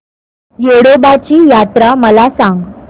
येडोबाची यात्रा मला सांग